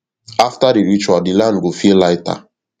after di ritual di land go feel lighter